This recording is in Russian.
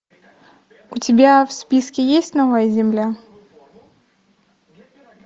у тебя в списке есть новая земля